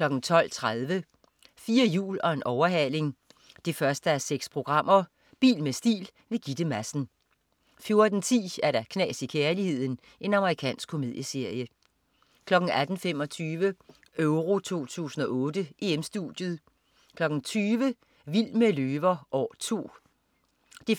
12.30 4 hjul og en overhaling 1:6. Bil med stil. Gitte Madsen 14.10 Knas i kærligheden. Amerikansk komedieserie 18.25 EURO 2008: EM-Studiet 20.00 Vild med løver. År 2. 1:13.